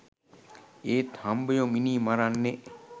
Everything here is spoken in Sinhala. ඒත් හම්බයො මිනී මරන්නෙ